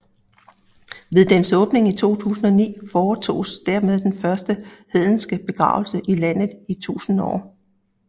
Ved dens åbning i 2009 foretoges dermed den første hedenske begravelse i landet i 1000 år